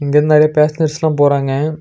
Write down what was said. இங்க இருந்து நெறைய பேசஞ்சர்ஸ்லா போறாங்க.